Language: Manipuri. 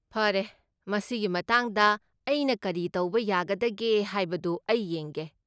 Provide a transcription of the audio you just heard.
ꯐꯔꯦ, ꯃꯁꯤꯒꯤ ꯃꯇꯥꯡꯗ ꯑꯩꯅ ꯀꯔꯤ ꯇꯧꯕ ꯌꯥꯒꯗꯒꯦ ꯍꯥꯏꯕꯗꯨ ꯑꯩ ꯌꯦꯡꯒꯦ꯫